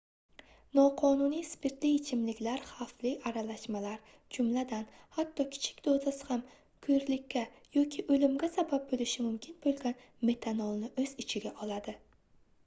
noqonuniy spirtli ichimliklar xavfli aralashmalar jumladan hatto kichik dozasi ham koʻrlikka yoki oʻlimga sabab boʻlishi mumkin boʻlgan metanolni oʻz ichiga oladi